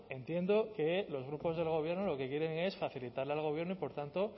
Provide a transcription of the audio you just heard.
entiendo que los grupos del gobierno lo que quieren es facilitarle al gobierno y por tanto